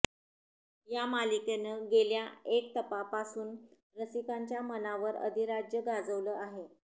या मालिकेनं गेल्या एक तपापासून रसिकांच्या मनावर अधिराज्य गाजवलं आहे